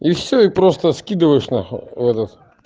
и все и просто скидываешь нахуй этот